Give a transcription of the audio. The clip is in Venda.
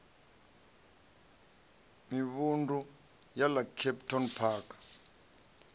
mivhundu ya ḽa kempton park